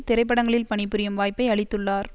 திரைப்படங்களில் பணிபுரியும் வாய்ப்பை அளித்துள்ளார்